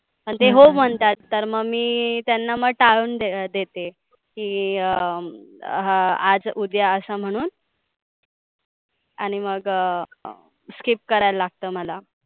आणि ते हो म्हणतात. तर मग मी त्याना मग टाळून देते. की अं आज, उद्या असं म्हणून आणि मग skip करायला लागत मला.